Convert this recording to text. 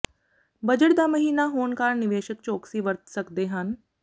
budget ਦਾ ਮਹੀਨਾ ਹੋਣ ਕਾਰਨ ਨਿਵੇਸ਼ਕ ਚੌਕਸੀ ਵਰਤ ਸਕਦੇ ਹਨ